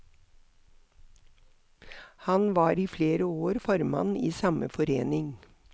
Han var i flere år formann i samme forening.